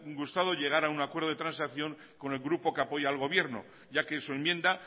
gustado llegar a un acuerdo de transacción con el grupo que apoya al gobierno ya que su enmienda